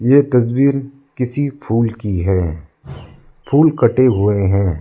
यह तस्वीर किसी फूल की है फुल कटे हुए हैं।